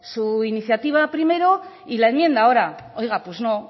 su iniciativa primero y la enmienda ahora oiga pues no